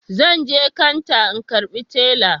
Zanje kanta in karbi tela